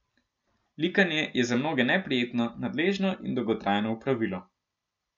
Likanje je za mnoge neprijetno, nadležno in dolgotrajno opravilo.